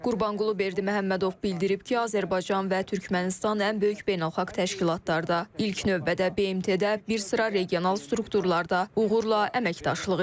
Qurbanqulu Berdiməhəmmədov bildirib ki, Azərbaycan və Türkmənistan ən böyük beynəlxalq təşkilatlarda, ilk növbədə BMT-də, bir sıra regional strukturlarda uğurla əməkdaşlıq edir.